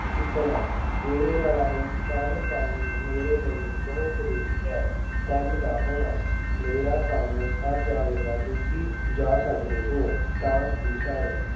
ਜਿੱਤਣਾ- ਇਹ ਲੜਾਈ ਸਰ ਕਰਨੀ ਮੇਰੇ ਲਈ ਬਹੁਤ ਜ਼ਰੂਰੀ ਹੈ। ਕੰਮ ਦਾ ਹੋਣਾ- ਮੇਰਾ ਕੰਮ ਸਰ ਜਾਵੇਗਾ, ਤੁਸੀਂ ਜਾ ਸਕਦੇ ਹੋ। ਤਾਂਸ ਦੀ ਸਰ-